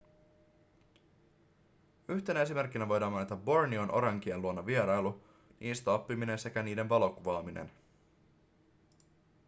yhtenä esimerkkinä voidaan mainita borneon orankien luona vierailu niistä oppiminen sekä niiden valokuvaaminen